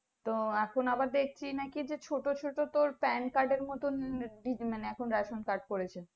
তো এখন আবার দেখছি নাকি ছোটো ছোটো তো pan card এর মতো মানে ration card করেছে